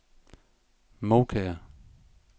Moukær